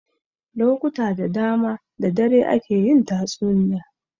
Lokuta da dama da dare ake yin tatsuniya.